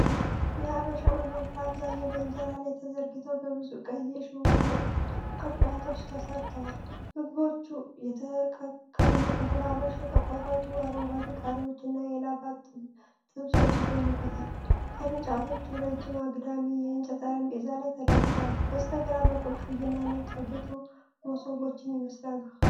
የአበሻ ምግቦች በአብዛኛው በእንጀራ ላይ ተዘርግተው በብዙ ቀይ የሽቦ ቅርጫቶች ተሰርተዋል። ምግቦቹ የተቀቀሉ እንቁላሎች፣ የተቆረጡ አረንጓዴ ቃሪያዎች እና የላባ ጥብሶች ይገኙበታል። ቅርጫቶቹ ረጅም አግዳሚ የእንጨት ጠረጴዛዎች ላይ ተደርድረዋል። በስተግራ በኩል ቀይና ነጭ ያጌጡ መሶቦችን ይመስላሉ።